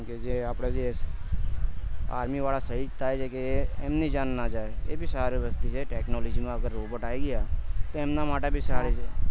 જે એમ કે જે આપડે army વાળા શહીદ થાય છે કે એમની જાન ન જાય એ બી સારી વસ્તુ છે કે technology માં robot આવી ગયા તો એમના માટે પણ સારું છે